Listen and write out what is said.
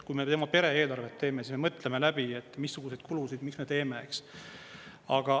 Kui me pere eelarvet teeme, siis me mõtleme läbi, missuguseid kulusid miks me teeme.